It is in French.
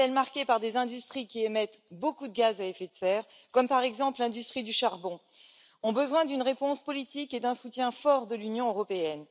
Celles marquées par des industries qui émettent beaucoup de gaz à effet de serre, comme par exemple l'industrie du charbon, ont besoin d'une réponse politique et d'un soutien fort de l'Union européenne.